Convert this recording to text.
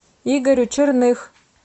игорю черных